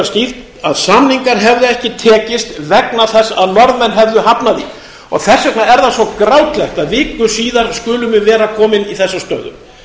skýrt að samningar hefðu ekki tekist vegna þess að norðmenn hefðu hafnað því og þess vegna er það svo grátlegt að viku síðar skulum við vera komin í þessa stöðu